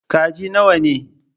Kaji nawa ne?